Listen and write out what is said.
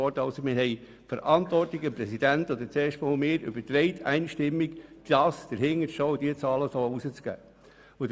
Wir haben die Verantwortung einstimmig an den Präsidenten und dann an mich übertragen, dahinterzustehen und diese Zahlen so herauszugeben.